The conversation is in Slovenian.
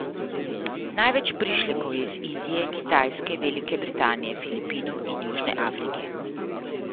Največ prišlekov je iz Indije, Kitajske, Velike Britanije, Filipinov in Južne Afrike.